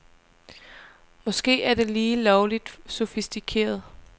Måske er det lige lovligt sofistikeret.